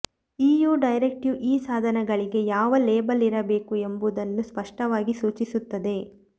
EU directive ಈ ಸಾಧನಗಳಿಗೆ ಯಾವ ಲೇಬಲ್ ಇರಬೇಕು ಎಂಬುದನ್ನು ಸ್ಪಷ್ಟವಾಗಿ ಸೂಚಿಸುತ್ತದೆ